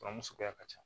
Furamu suguya ka ca